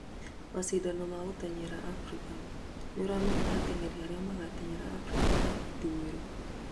macindano ma gũteng'era Afrika: nĩũramenya ateng'eri aria magateng'erera Afrika ya ithũĩro